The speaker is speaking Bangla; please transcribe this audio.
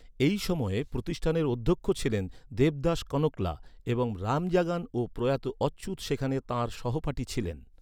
এই সময়ে প্রতিষ্ঠানের অধ্যক্ষ ছিলেন দেবদাস কনকলা, এবং রামজাগান ও প্রয়াত অচ্যুত সেখানে তাঁর সহপাঠী ছিলেন।